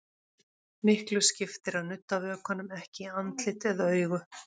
Miklu skiptir að nudda vökvanum ekki í andlit eða augu.